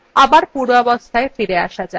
আবার পূর্বাবস্থায় ফিরে আসা যাক